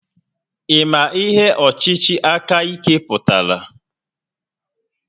Ị ma ihe ọchịchị aka ike pụtara?